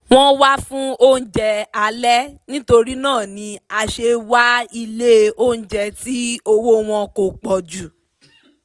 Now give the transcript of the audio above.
wọ́n wá fún oúnjẹ alẹ́ nítorína ni a se wá ilé oúnjẹ tí owó wọn kò pọ̀jù